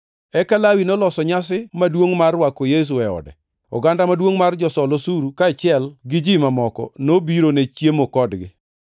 Eka Lawi noloso nyasi maduongʼ mar rwako Yesu e ode, oganda maduongʼ mar josol osuru kaachiel gi ji mamoko nobiro ne chiemo kodgi.